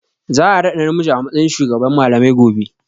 Za a raɗa namiji a matsayin shugaban malamai gobe.